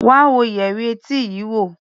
Wá wo yẹrí etí yii wo!